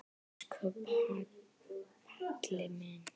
Elsku Palli minn.